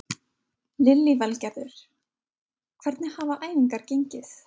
Lillý Valgerður: Hvernig hafa æfingar gengið?